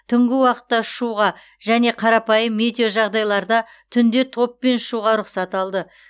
түнгі уақытта ұшуға және қарапайым метеожағдайларда түнде топпен ұшуға рұқсат алды